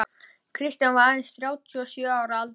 Kristján var aðeins þrjátíu og sjö ára að aldri.